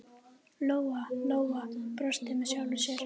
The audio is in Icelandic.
Lóa-Lóa brosti með sjálfri sér.